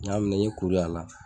N y'a minɛ i kuru ye a la